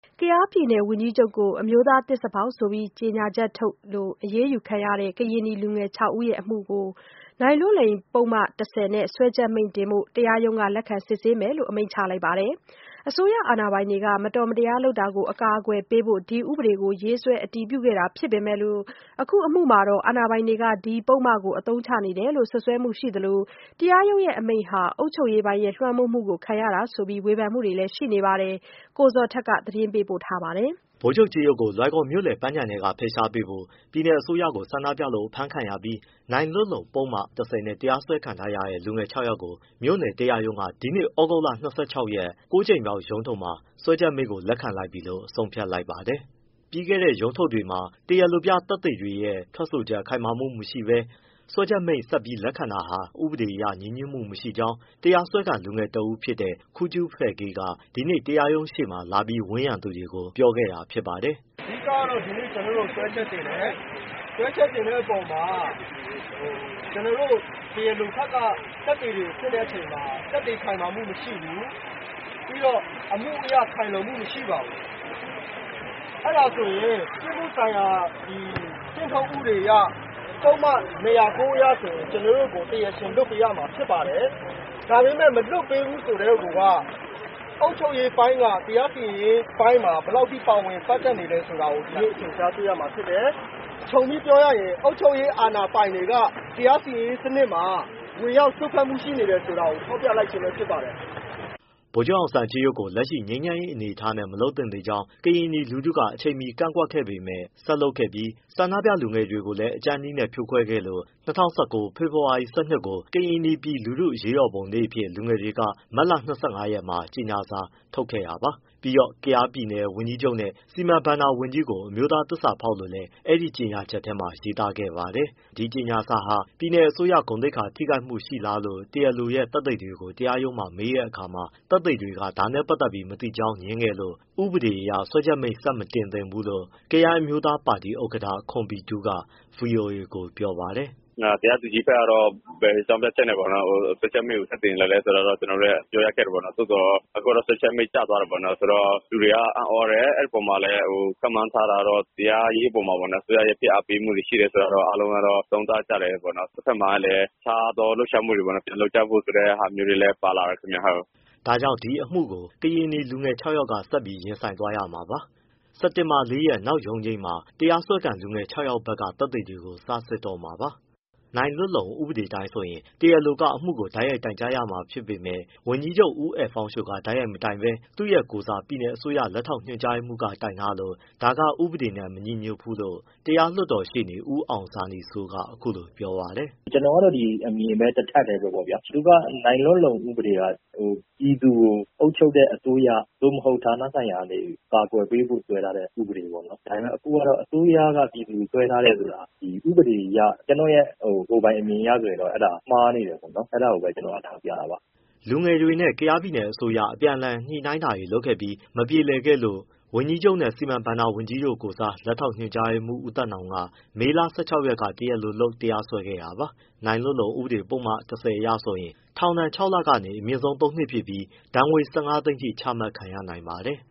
ကယားပြည်နယ်ဝန်ကြီးချုပ်ကို အမျိုးသားသစ္စာဖောက်ဆိုပြီး ကြေညာချက်ထုတ်လို့ အရေးယူခံရတဲ့ ကရင်နီလူငယ် ၆ ဦးအမှုမှာနိုင်လွတ်လုံပုဒ်မ ၁၀ နဲ့ စွဲချက်မိန့်ကို တရားရုံးက လက်ခံစစ်ဆေးမယ်လို့ အမိန့်ချလိုက်ပါတယ်။ အစိုးရအာဏာပိုင်တွေရဲ့ မတော်မတရား လုပ်တာကို အကာအကွယ်ပေးဖို့ ဒီဥပဒေကို ရေးဆွဲ အတည်ပြုခဲ့တာဖြစ်ပေမယ့်၊ အခုအမှုမှာ အာဏာပိုင်တွေက ဒီပုဒ်မကို အသုံးချနေတယ်လို့ စွတ်စွဲမှု ရှိသလို တရားရုံးအမိန့်ဟာ - အုပ်ချုပ်ရေးပိုင်းရဲ့ လွှမ်းမိုးမှု ခံရတာလို့ ဝေဖန်မှုတွေလည်းရှိနေပါတယ်။ ကိုဇော်ထက် မေးမြန်းစုံစမ်း သတင်းပေးပို့ထားပါတယ်။ ဗိုလ်ချုပ်ကြေးရုပ်ကို လွိုင်ကော်မြို့လယ်ပန်းခြံထဲက ဖယ်ရှားပေးဖို့ ပြည်နယ်အစိုးရကိုဆန္ဒပြလို့ အဖမ်းခံရပြီး နိုင်လွတ်လုံပုဒ်မ ၁၀နဲ့ တရားစွဲခံနေရတဲ့ လူငယ် ၆ယောက်ကို မြို့နယ်တရားရုံးက ဒီနေ့ သြဂုတ်လ ၂၆ရက်၊ ၉ ကြိမ်မြောက်ရုံးထုတ်မှာ စွဲချက်မိန့်ကို လက်ခံလိုက်ပြီလို့ ဆုံးဖြတ်လိုက်ပါတယ်။ ပြီးခဲ့တဲ့ ရုံးထုတ်တွေမှာ တရားလိုပြသက်သေ ထွက်ဆိုချက်ခိုင်မာမှုမရှိဘဲ စွဲချက်မိန့်ဆက်လက်ခံတာဟာ ဥပဒေအရ ညီညွတ်မှုမရှိကြောင်း တရားစွဲခံလူငယ်တဦးဖြစ်တဲ့ ခူးကြူးဖဲကေးက ဒီနေ့ တရားရုံရှေ့မှာ လာပြီး ဝန်းရံသူတွေကို ပြောခဲ့တာဖြစ်ပါတယ်။ “ အဓိကတော့ ဒီနေ့ ကျနော်တို့ကို စွဲချက်တင်တယ်၊ စွဲချက်တင်တဲ့အပေါ်မှာ တရားလိုဘက်က သက်သေတွေကိုစစ်တဲ့အခါမှာ သက်သေခိုင်မာမှုမရှိဘူး။ ပြီးတော့ အမှုအရခိုင်လုံမှုမရှိပါဘူး။ အဲဒါဆိုရင် ပြစ်မှုဆိုင်ရာ ကျင့်ထုံးဥပဒေအရ ပုဒ်မ ၂၀၉ အရဆိုရင် ကျနော်တို့ကို တရားရှင်လွှတ်ပေးရမှာ ဖြစ်ပါတယ်။ ဒါပေမဲ့ မလွှတ်ပေးဘူးဆိုကတည်းက အုပ်ချုပ်ရေးပိုင်းက တရားစီရင်ရေးအပိုင်းမှာ ဘယ်လောက်ပါဝင်ပတ်သက်နေလဲဆိုတာ ဒီနေ့အထင်အရှားတွေ့ရမှာ ဖြစ်တယ်။ ခြုံပြီးပြောရရင် အုပ်ချုပ်ရေး အာဏာပိုင်တွေက တရားစီရင်ရေးအပိုင်းမှာ ဝင်ရောက်စွက်ဖက်မှုရှိနေတယ်ဆိုတာ ထောက်ပြလိုက်ခြင်းပဲ ဖြစ်ပါတယ်။” ဗိုလ်ချုပ်အောင်ဆန်းကြေးရုပ်ကို လက်ရှိငြိမ်းချမ်းရေးအနေအထားနဲ့ မလုပ်သင့်သေးကြောင်းနဲ့ ကရင်နီလူထုက အချိန်မီကန့်ကွက်ပေမဲ့ ဆက်လုပ်ပြီး ဆန္ဒပြလူငယ်တွေကိုလည်း အကြမ်းနည်းဖြိုခွဲခဲ့လို့ ၂၀၁၉ ဖေဖော်ဝါရီနေ့ ၁၂ ကို ကရင်နီပြည်လူထုအရေးတော်ပုံနေ့အဖြစ် လူငယ်တွေက မတ်လ ၂၅ရက်မှာ ကြေညာစာထုတ်ခဲ့တာပါ။ ပြီးတော့ ကယားပြည်နယ်ဝန်ကြီးချုပ်နဲ့ စီမံဘဏ္ဍာဝန်ကြီးကို အမျိုးသား သစ္စာဖောက် လို့လည်းအဲဒီကြေညာချက်ထဲရေးသားခဲ့ ပါတယ်။ ဒီကြေညာစာက ပြည်နယ်အစိုးရ ဂုဏ်သိက္ခာထိခိုက်မှုရှိလားလို့ တရားလိုရဲ့ သက်သေတွေကို တရားရုံးမှာ မေးတဲ့အခါမှာ သက်သေတွေက ဒါနဲ့ပတ်သက်ပြီးမသိကြောင်း ငြင်းခဲ့လို့ ဥပဒေအရ စွဲချက်မိန့် ဆက်မတင်သင့်ဘူးလို့ ကယန်းအမျိုးသားပါတီ ဥက္ကဋ္ဌ ခွန်ဘီတူး က ဗွီအိုအေကို အခုလိုပြောပါတယ်။ “ တရားသူကြီးဘက်ကတော့ ဘယ်အကြောင်းပြချက်နဲ့ စွဲချက်မိန့်ကိုဆက်တင်သလဲဆိုတာ ပြောရခက်တယ်ပေါ့ သို့သော် အခုတော့စွဲချက်မိန့်ကျသွား တယ်ပေါ့။ လူတွေကအံ့သြတယ် အဲဒီအပေါ်မှာ ခန့်မှန်းထားတာကတော့ တရားရေးအပေါ်မှာ အစိုးရရဲ့ ဖိအားပေးမှုတွေရှိတယ်ဆိုတာတော့ အားလုံးက သုံးသပ်ကြတယ်ပေါ့။ တဘက်မှာလည်း အခြားသောလှုပ်ရှားမှုတွေ ပြန်လုပ်ကြဖို့ဆိုတဲ့ ဟာမျိုးတွေလည်း ပါလာတယ်ခင်ဗျ။” ဒါကြောင့် ဒီအမှုကို ကရင်နီလူငယ် ၆ယောက်က ဆက်ပြီးရင်ဆိုင်သွားရမှာပါ။ စက်တင်ဘာ၄ရက် နောက်ရုံးချိန်းမှာ တရားစွဲခံလူငယ် ၆ယောက်ဘက်က သက်သေတွေကို စစစ်တော့မှာပါ။ နိုင်လွတ်လုံဥပဒေအတိုင်းဆိုရင် တရားလိုက အမှုကိုတိုက်ရိုက်တိုင်ကြားရမှာဖြစ်ပေမဲ့ ဝန်ကြီးချုပ်ဦးအယ်ဖောင်းရှိုက တိုက်ရိုက်မတိုင်ဘဲသူ့ရဲ့ ကိုယ်စား ပြည်နယ်အစိုးရ လက်ထောက်ညွှန်ကြားရေးမှူးက တိုင်ထားလို့ ဒါက ဥပဒေနဲ့ မညီဘူးလို့ တရားလွှတ်တော်ရှေ့နေ ဦးအောင်ဇာနည်စိုး က အခုလို ပြောပါတယ်။ “ ကျနော်ကတော့ အမြင်ပဲ ဒီတထပ်တည်းပေါ့ဗျာ သူက နိုင်လွတ်လုံ ဥပဒေက ပြည်သူကိုအုပ်ချုပ်တဲ့ အစိုးရ သို့မဟုတ် ဌာနဆိုင်ရာကနေ အကာအကွယ်ပေးဖို့ ဆွဲထားတဲ့ ဥပဒေပေါ့။ ဒါပေမဲ့ အခုတော့ အစိုးရကနေ ပြည်သူကို တရားစွဲထားတယ်ဆိုတာ ဥပဒေအရ ကျနော့ရဲ့ ကိုယ်ပိုင်အမြင် အရဆိုရင် အဲဒါမှားနေတယ်ပေါ့ အဲဒါကိုပဲ ကျနော်က ထောက်ပြတာပါ။” လူငယ်တွေနဲ့ ကယားပြည်နယ်အစိုးရအပြန်အလှန်ညှိနှိုင်းတာတွေလုပ်ခဲ့ပြီး မပြေလည်ခဲ့လို့ ဝန်ကြီးချုပ်နဲ့ စီမံဘဏ္ဍာဝန်ကြီးတို့ကိုယ်စား လက်ထောက် ညွှန်ကြားရေးမှူး ဦးသက်နောင်က မေလ ၁၆ရက်က တရားလိုလုပ် တရားစွဲခဲ့တာပါ။ နိုင်လွတ်လုံ ပုဒ်မ ၁၀အရဆိုရင် ထောင်ဒဏ် ၆လကနေ အမြင့်ဆုံး ၃နှစ်ဖြစ်ပြီး ဒဏ်ငွေ ၁၅သိန်းအထိ ချမှတ်ခံရနိုင်ပါတယ်